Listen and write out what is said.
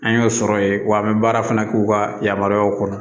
An y'o sɔrɔ yen wa an bɛ baara fana k'u ka yamaruyaw kɔnɔ